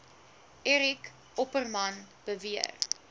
eric opperman beweer